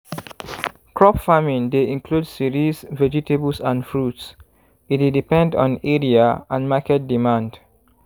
crop farming dey include cereals vegetables and fruits e dey depend on area and market demand